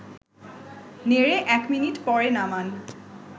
নেড়ে ১ মিনিট পরে নামান